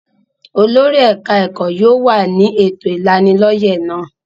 Olórí ẹ̀ka-ẹ̀kọ́ yóò wà ní ètò ìlanilọ́yẹ́ náà.